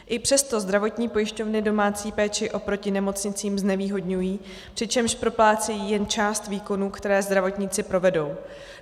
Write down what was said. I přesto zdravotní pojišťovny domácí péči oproti nemocnicím znevýhodňují, přičemž proplácejí jen část výkonů, které zdravotníci provedou.